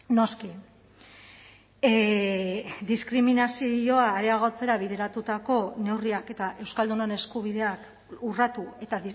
noski diskriminazioa areagotzera bideratutako neurriak eta euskaldunon eskubideak urratu eta